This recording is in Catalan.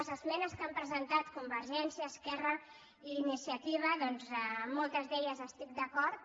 les esmenes que han presen·tat convergència esquerra i iniciativa amb moltes hi estic d’acord